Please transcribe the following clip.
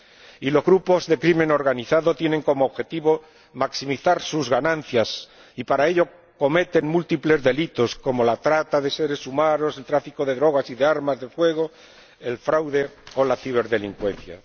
Y los grupos de delincuencia organizada tienen como objetivo maximizar sus ganancias y, para ello, cometen múltiples delitos, como la trata de seres humanos, el tráfico de drogas y de armas de fuego, el fraude o la ciberdelincuencia.